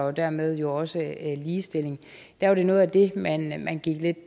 og dermed jo også ligestilling der var det noget af det man man gik